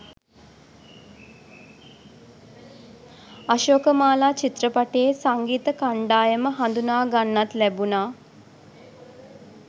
අශෝකමාලා චිත්‍රපටයේ සංගීත කණ්ඩායම හඳුනා ගන්නත් ලැබුණා